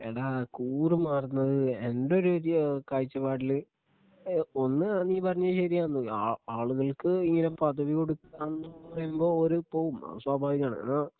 എടാ കൂറു മാറുന്നത് എൻ്റെ ഒരു ഏഹ് കാഴ്ചപ്പാടില് ഏഹ് ഒന്ന് നീ പറഞ്ഞത് ശരിയാന്ന് ആ ആളുകൾക്ക് ഇങ്ങനെ പദവി കൊടുക്കാന്ന് പറയുമ്പോ ഒര് പോവും അത് സ്വാഭാവികമാണ് എന്നാ